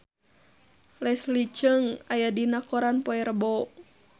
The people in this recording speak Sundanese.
Leslie Cheung aya dina koran poe Rebo